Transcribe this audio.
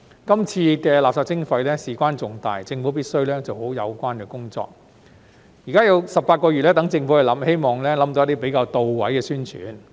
這次垃圾徵費事關重大，政府必須做好有關工作，現在政府有18個月計劃，希望可以想到一些比較到位的宣傳。